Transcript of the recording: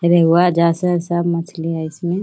रेंगवा सब मछली है इसमें।